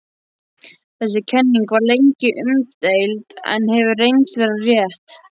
Þessi kenning var lengi umdeild en hefur reynst vera rétt.